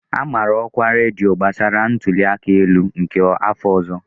A mara ọkwa na redio gbasara ntuli aka elu nke afọ ọzọ.